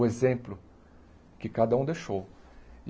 O exemplo que cada um deixou.